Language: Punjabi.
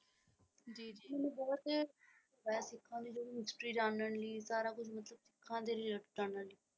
ਮੈਨੂੰ ਬਹੁਤ ਇਹ ਸਿੱਖਾਂ ਦੀ ਜੋ ਵੀ ਹਿਸਟੋਰੀ ਜਾਨਣ ਲਈ ਸਾਰਾ ਕੁਝ ਮਤਲਬ ਸਿੱਖਾਂ ਦੀ ਜਾਨਣ ਲਈ।